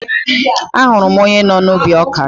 Ahụrụ m onye nọ n'ubi ọkà